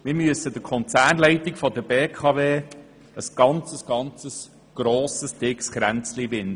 Wir müssen der Konzernleitung der BKW ein grosses Kränzchen winden: